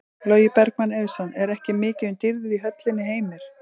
Logi Bergmann Eiðsson: Er ekki mikið um dýrðir í höllinni Heimir?